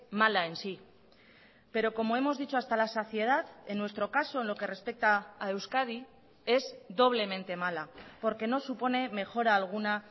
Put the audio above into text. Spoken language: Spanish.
mala en sí pero como hemos dicho hasta la saciedad en nuestro caso en lo que respecta a euskadi es doblemente mala porque no supone mejora alguna